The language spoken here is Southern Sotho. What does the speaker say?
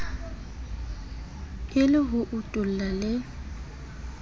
e le ho utulla le